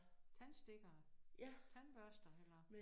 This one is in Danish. Tandstikker tandbørster eller